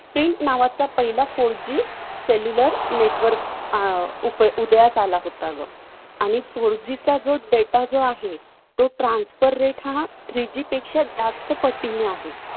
नावाचा पहिला four G cellular network उदयास आला होता गं. आणि four G चा जो data जो आहे तो transfer rate हा three G पेक्षा जास्त पटीनं आहे.